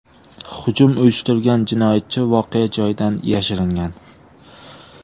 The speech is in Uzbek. Hujum uyushtirgan jinoyatchi voqea joyidan yashiringan.